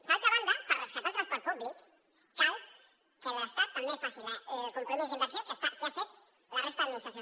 d’altra banda per rescatar el transport públic cal que l’estat també faci el compromís d’inversió que han fet la resta d’administracions